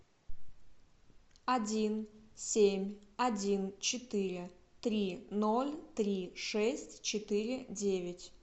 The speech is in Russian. один семь один четыре три ноль три шесть четыре девять